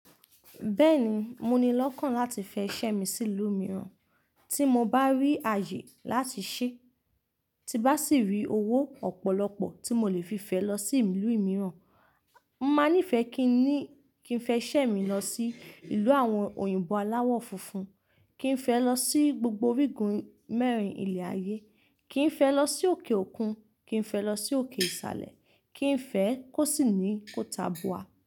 Bẹ́ẹ̀ni, mo ni lọ́kàn láti fẹ iṣẹ́ mi sí ìlú mìíràn. Tí mo bá rí ààyè láti ṣẹ́, tí bá sì rí owó ọ̀pọ̀lọpọ̀ tí mo lè fi fẹ lọ sí ìlú mìíràn, máa nífẹ̀ẹ́ kí n ni kí n fẹ iṣẹ́ mi lọ sí ìlú àwọn òyìnbó aláwọ funfun, kí n fẹ lọ sí gbogbo orígun mẹ́rin ilẹ̀ ayé, kí n fẹ lọ sí òkè òkun, kí n fẹ lọ sí òkè ìsàlẹ̀, kí n fẹ kó sì ní kò ta bòá.